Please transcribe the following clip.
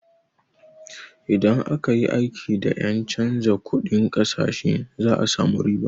Idan aka yi aiki da ƴen canza kunɗin ƙasashe za a samu riba.